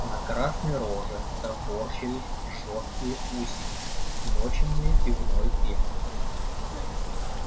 на красной роже топорщились жёсткие усики смоченные пивной пеной